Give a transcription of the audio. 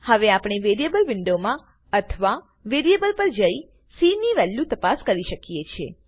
હવે આપણે વેરીએબલ વિન્ડોમાં અથવા વેરીએબલ પર જઈ સી ની વેલ્યુ તપાસી શકીએ છે